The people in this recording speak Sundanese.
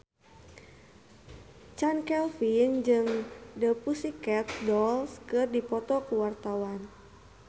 Chand Kelvin jeung The Pussycat Dolls keur dipoto ku wartawan